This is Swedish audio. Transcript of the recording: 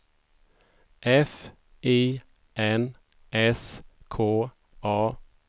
F I N S K A